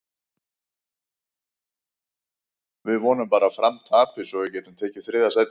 Við vonum bara að Fram tapi svo við getum tekið þriðja sætið.